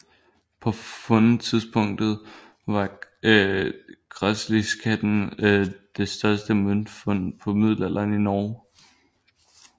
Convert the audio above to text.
På fundtidspunktet var Græsliskatten det største møntfund fra middelalderen i Norge